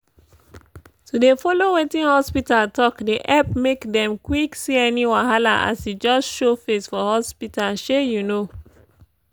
to dey follow wetin hospita talk dey epp make dem quck see any wahala as e just show face for hospita shey you know